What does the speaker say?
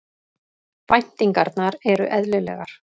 Væntingarnar eru eðlilegar